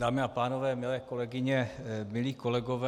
Dámy a pánové, milé kolegyně, milí kolegové.